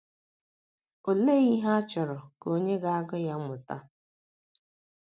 ’ Olee ihe a chọrọ ka onye ga - agụ ya mụta? ’